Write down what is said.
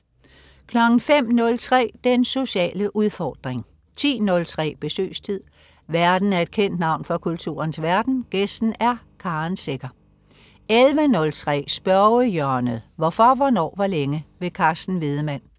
05.03 Den sociale udfordring 10.03 Besøgstid. Værten er et kendt navn fra kulturens verden, gæsten er Karen Secher 11.03 Spørgehjørnet. Hvorfor, hvornår, hvor længe? Carsten Wiedemann